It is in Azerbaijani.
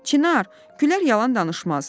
Çinar, Güllər yalan danışmaz.